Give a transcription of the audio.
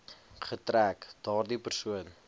getrek daardie persoon